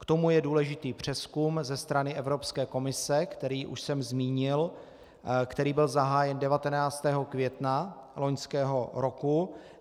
K tomu je důležitý přezkum ze strany Evropské komise, který už jsem zmínil, který byl zahájen 19. května loňského roku.